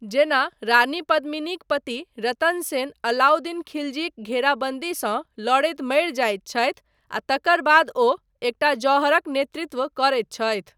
जेना, रानी पद्मिनीक पति रतन सेन अलाउद्दीन खालजीक घेराबन्दीसँ लड़ैत मरि जायत छथि, आ तकर बाद ओ एकटा जौहरक नेतृत्व करैत छथि।